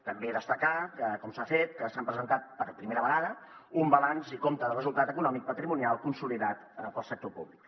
també destacar que com s’ha fet s’han presentat per primera vegada un balanç i compte de resultat econòmic patrimonial consolidat per al sector públic